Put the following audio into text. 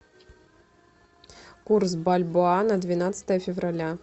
курс бальбоа на двенадцатое февраля